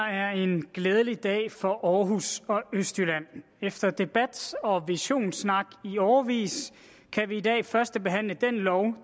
her er en glædelig dag for aarhus og østjylland efter debat og visionssnak i årevis kan vi i dag førstebehandle den lov